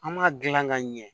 An m'a gilan ka ɲɛ